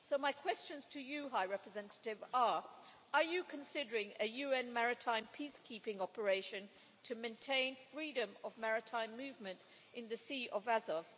So my questions to you, High Representative, are are you considering a UN maritime peacekeeping operation to maintain freedom of maritime movement in the Sea of Azov?